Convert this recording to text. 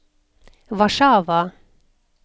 Warszawa